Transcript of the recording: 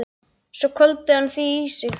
Svo hvolfdi hann því í sig.